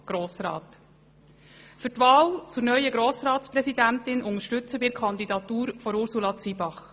Für die Wahl zur neuen Grossratspräsidentin unterstützen wir die Kandidatur von Ursula Zybach.